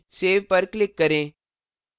save पर click करें